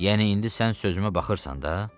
Yəni indi sən sözümə baxırsan da?